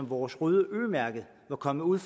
vores røde ø mærke var kommet ud